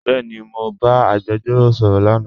Bẹẹni, Mọ ba agbẹjọro sọrọ lánà.